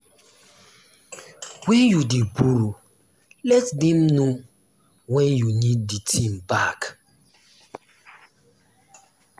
when you dey borrow let dem know when you need the thing back